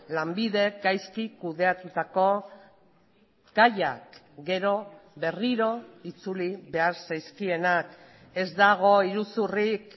lanbidek gaizki kudeatutako gaiak gero berriro itzuli behar zaizkienak ez dago iruzurrik